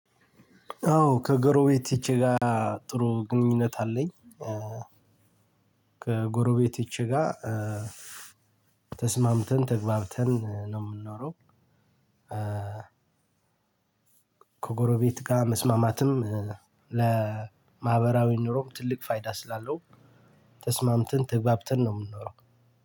አዎ ከጎረቤቶቼ ጋር ጥሩ ግንኙነት አለኝ። ከጎረቤቶቼ ጋር ተስማምተን፣ ተግባብተን ነው ምንኖረው። ከጎረቤት ጋር መስማማትም ለማህበራዊ ኑሮም ትልቅ ፋይዳ ስላለው ተስማምተን ተግባብተን ነው ምንኖረው